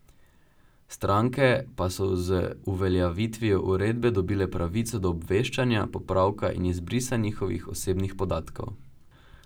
Stranke pa so z uveljavitvijo uredbe dobile pravico do obveščanja, popravka in izbrisa njihovih osebnih podatkov.